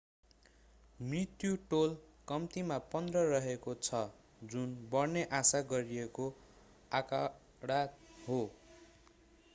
मृत्यु टोल कम्तिमा 15 रहेको छ जुन बढ्ने आशा गरिएको आँकडा हो